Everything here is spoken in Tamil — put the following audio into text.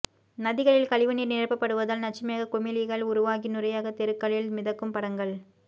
நதிகளில் கழிவுநீர் நிரப்பப்படுவதால் நச்சு மேக குமிழிகள் உருவாகி நுரையாக தெருக்களில் மிதக்கும் படங்கள்